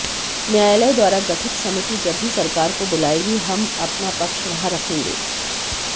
न्यायालय द्वारा गठित समिति जब भी सरकार को बुलाएगी हम अपना पक्ष वहां रखेंगे